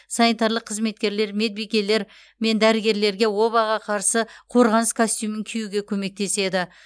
санитарлық қызметкерлер медбикелер мен дәрігерлерге обаға қарсы қорғаныс костюмін киюге көмектеседі